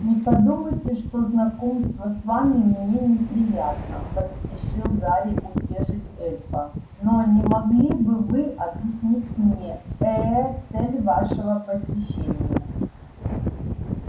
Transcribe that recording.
не подумайте что знакомство с вами мне неприятно поспешил гарри утешить эльфа но не могли бы вы объяснить мне ээ цель вашего посещения